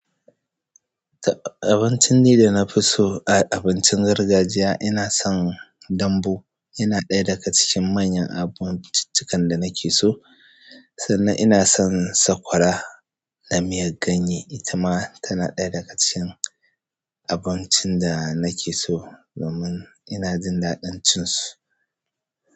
Abincin da na fi so a abincin gargajiya ina son dambu, yana ɗaya daga cikin manyan abinci ci kan da nake so, sannan ina son sakwara da miyan ganye, ita ma tana ɗaya daga cikin abincin da nake so, domin ina jin daɗacin su.